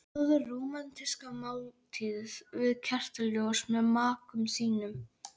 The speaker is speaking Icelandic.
Borðaðu rómantíska máltíð við kertaljós með maka þínum.